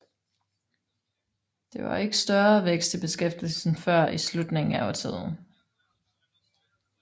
Der var ikke større vækst i beskæftigelsen før i slutningen af årtiet